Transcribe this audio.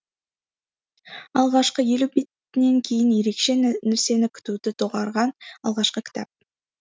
алғашқы елу бетінен кейін ерекше нәрсені күтуді доғарған алғашқы кітап